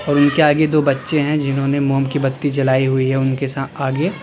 और उनके आगे दो बच्चे हैं जिन्होंने मोम की बत्ती जलाई हुई है उनके सा आगे।